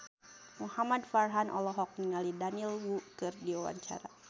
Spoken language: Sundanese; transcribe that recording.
Muhamad Farhan olohok ningali Daniel Wu keur diwawancara